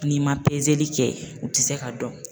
N'i ma kɛ o ti se ka dɔn.